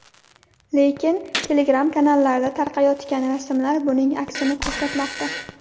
Lekin Telegram-kanallarda tarqayotgan rasmlar buning aksini ko‘rsatmoqda .